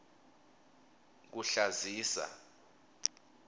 kuhlazisa